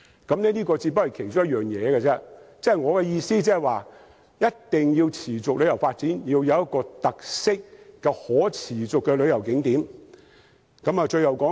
這只是其中一個建議，我的意思是旅遊業若要持續發展，定必要有一些具特色及可持續的旅遊景點。